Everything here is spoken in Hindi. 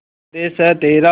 स्वदेस है तेरा